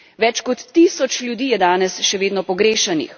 Več kot tisoč ljudi je danes še vedno pogrešanih.